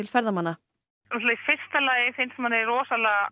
ferðamanna fyrsta lagi finnst manni rosalega